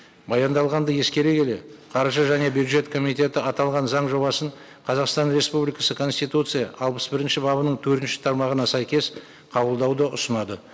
баяндалғанды ескере келе қаржы және бюджет комитеті аталған заң жобасын қазақстан республикасы конституция алпыс бірінші бабының төртінші тармағына сәйкес қабылдауды ұсынады